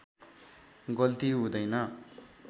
गल्ति हुँदैन